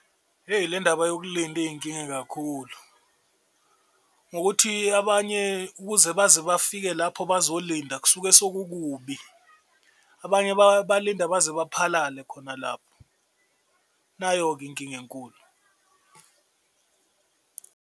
Eyi le ndaba yokulinda iyinkinga kakhulu ngokuthi abanye ukuze baze bafike lapho bazolinda kusuke sekukubi, abanye balinda baze baphalale khona lapho, nayo-ke inkinga enkulu.